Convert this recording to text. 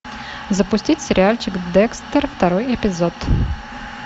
запустить сериальчик декстер второй эпизод